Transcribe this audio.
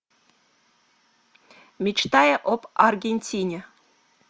мечтая об аргентине